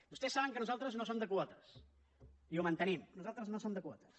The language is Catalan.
vostès saben que nosaltres no som de quotes i ho mantenim nosaltres no som de quotes